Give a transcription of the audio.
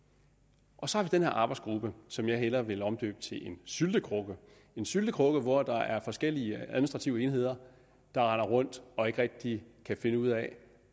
og så har vi den her arbejdsgruppe som jeg hellere vil omdøbe til en syltekrukke en syltekrukke hvor der er forskellige administrative enheder der render rundt og ikke rigtig kan finde ud af